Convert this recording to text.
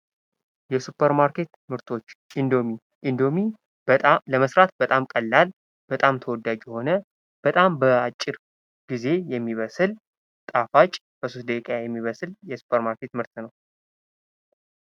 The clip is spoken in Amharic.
የሱፐር ማርኬት ምርቶች:-እንዶሚ፦ እንዶሚ ለመስራት በጣም ቀላል በጣም ተወዳጅ የሆነ በጣም በአጭር ጊዜ የሚበስል ጣፋጭ በሶስት ደቂቃ የሚበስል የሱፐር ማርኬት ምርት ነው።